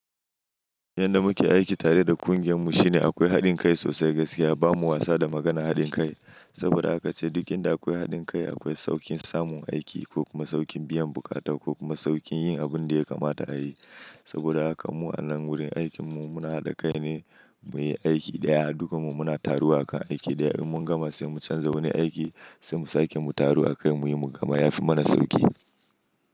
Yanda muke aiki tare da ƙungiyar mu shine akwai haɗin kai sosai gaskiya. Ba mu wasa da maganar haɗin kai, saboda haka ce duk inda akwai haɗin kai akwai sauƙin samun aiki ko kuma sauƙin biyan buƙata ko kuma sauƙin yin abin da ya kamata a yi. Saboda haka mu a nan wurin aikin mu muna haɗa kai ne muyi aiki ɗaya, duka mu muna taruwa akan aiki ɗaya. In mun gama sai mu canza wani aiki, sai mu sake mu taru akai muyi mu gama yafi mana sauƙi.